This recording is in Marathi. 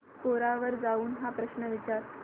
कोरा वर जाऊन हा प्रश्न विचार